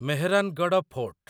Mehrangarh fort